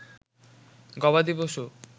গবাদি পশু